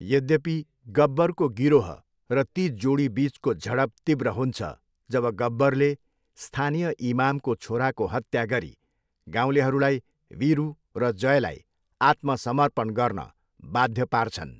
यद्यपि, गब्बरको गिरोह र ती जोडीबिचको झडप तीव्र हुन्छ जब गब्बरले स्थानीय इमामको छोराको हत्या गरी गाउँलेहरूलाई वीरु र जयलाई आत्मसमर्पण गर्न बाध्य पार्छन्।